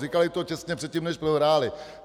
Říkali to těsně předtím, než prohráli.